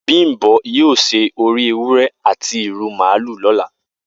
Bimbo yio se ori ewure ati iru maalu lola